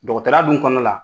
Dɔgɔtɔrɔ ya dun kɔnɔ la